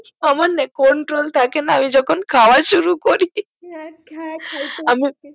আমার না control থাকে না আমি যখন খাওয়া শুরু করি খ্যা খ্যা খাইতে পারে আমি